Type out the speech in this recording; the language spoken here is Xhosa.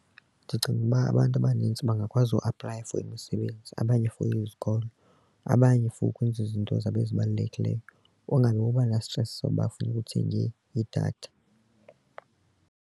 Ndicinga ukuba abantu abanintsi bangakwazi uaplaya for imisebenzi abanye for izikolo abanye for ukwenza izinto zabo ezibalulekileyo ungazuba na-stress sokuba kufuneka uthenge idatha.